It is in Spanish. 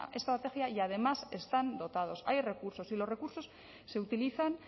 estrategia y además están dotados hay recursos y los recursos se utilizan